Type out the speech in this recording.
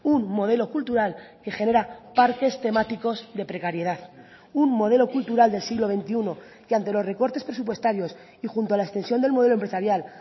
un modelo cultural que genera parques temáticos de precariedad un modelo cultural del siglo veintiuno que ante los recortes presupuestarios y junto a la extensión del modelo empresarial